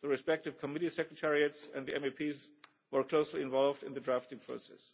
the respective committee secretariats and the MEPs who were closely involved in the drafting process.